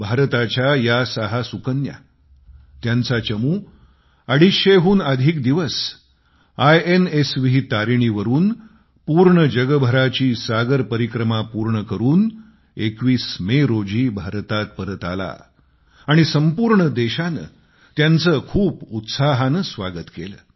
भारताच्या या सहा सुकन्या त्यांचा चमू two hundred and fifty four days अडीचशेहून अधिक दिवस आयएनएसवी तारिणीवरुन पूर्ण जगभराची सागर परिक्रमा पूर्ण करून 21 मे रोजी भारतात परत आला आणि संपूर्ण देशाने त्यांचे खूप उत्साहाने स्वागत केले